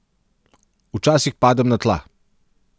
Včasih padem na tla.